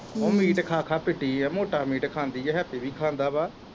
ਓਹ ਮੀਟ ਖਾ ਖਾ ਫਿੱਟੀ ਐ ਮੋਟਾ ਮੀਟ ਖਾਂਦੀ ਐ, ਹੈਪੀ ਵੀ ਖਾਂਦਾ ਵਾ।